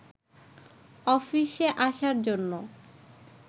অফিসে আসার জন্য